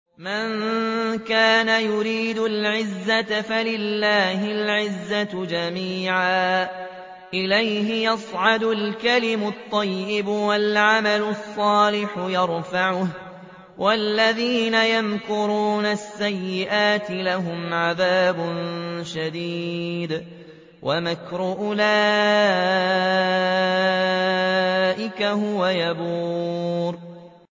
مَن كَانَ يُرِيدُ الْعِزَّةَ فَلِلَّهِ الْعِزَّةُ جَمِيعًا ۚ إِلَيْهِ يَصْعَدُ الْكَلِمُ الطَّيِّبُ وَالْعَمَلُ الصَّالِحُ يَرْفَعُهُ ۚ وَالَّذِينَ يَمْكُرُونَ السَّيِّئَاتِ لَهُمْ عَذَابٌ شَدِيدٌ ۖ وَمَكْرُ أُولَٰئِكَ هُوَ يَبُورُ